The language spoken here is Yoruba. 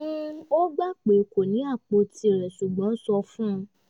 ó gbà pé kó ní apò tirẹ̀ ṣùgbọ́n sọ fún un